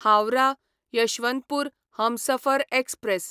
Howrah Yesvantpur Humsafar express